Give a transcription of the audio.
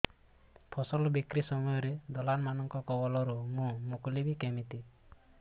ଫସଲ ବିକ୍ରୀ ସମୟରେ ଦଲାଲ୍ ମାନଙ୍କ କବଳରୁ ମୁଁ ମୁକୁଳିଵି କେମିତି